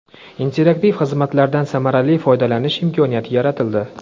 interaktiv xizmatlardan samarali foydalanish imkoniyati yaratildi.